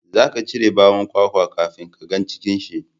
za ka cire bawon kwakwa kafin ka ga cikin shi